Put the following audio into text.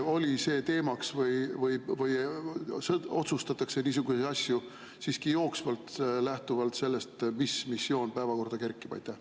Oli see teemaks või otsustatakse niisuguseid asju siiski jooksvalt lähtuvalt sellest, mis missioon päevakorda kerkib?